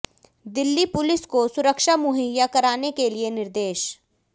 Delhi police को सुरक्षा मुहैया कराने के लिए निर्देश